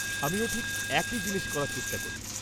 -আমিও ঠিক একই জিনিস করার চেষ্টা করি।